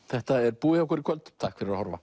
þetta er búið hjá okkur í kvöld takk fyrir að horfa